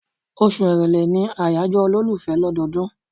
Oṣù Èrèlé ni àyájọ́ olólùfẹ́ lọ́dọọdún.